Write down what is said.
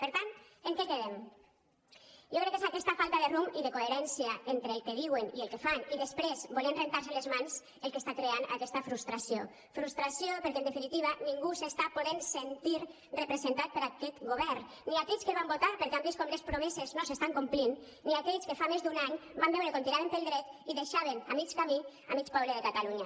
per tant en què quedem jo crec que és aquesta falta de rumb i de coherència entre el que diuen i el que fan i després voler rentar se’n les mans el que està creant aquesta frustració frustració perquè en definitiva ningú s’està podent sentir representat per aquest govern ni aquells que el van votar perquè han vist com les promeses no s’estan complint ni aquells que fa més d’un any van veure com tiraven pel dret i deixaven a mig camí mig poble de catalunya